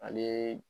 Ale